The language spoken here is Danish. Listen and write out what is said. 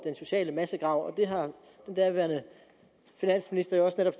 sociale massegrav og det har den daværende finansminister jo også netop